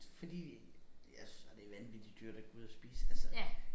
Fordi jeg synes bare det vanvittig dyrt at gå ud at spise altså